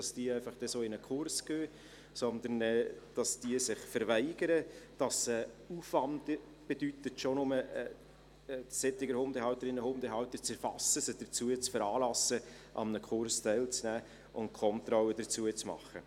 Demgegenüber würden sich diese verweigern, sodass es einen Aufwand bedeuten würde, solche Hundehalterinnen und Hundehalter schon nur zu erfassen und sie dazu zu veranlassen, an einem Kurs teilzunehmen und die Kontrolle dazu zu machen.